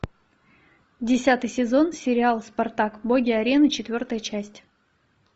десятый сезон сериал спартак боги арены четвертая часть